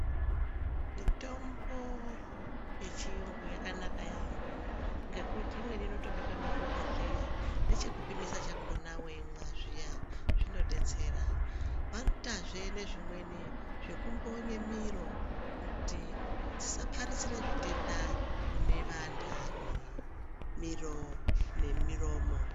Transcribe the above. Mitombo yechiyungu yakanaka yaambo, ngekuti imweni inotobekwe muzvibhodhleya nechemupimisa chakona weimwa zviya zvinodetsera. Vanoitazve nezvimwe zvekumvonye miro kuti dzisaparizire zvitenda kune vanthani , miro nemiromo.